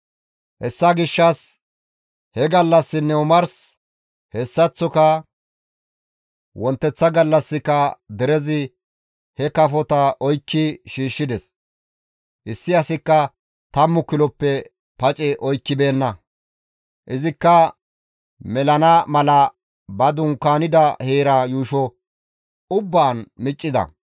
Hessa gishshas he gallassinne omars, hessaththoka wonteththa gallassika derezi he kafota oykki shiishshides; issi asikka tammu kiloppe pace oykkibeenna; izikka melana mala ba dunkaanida heera yuusho ubbaan miccida.